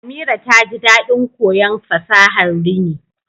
Amira taji dadin koyon fasahar rini